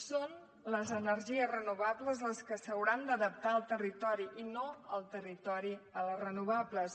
són les energies renovables les que s’hauran d’adaptar al territori i no el territori a les renovables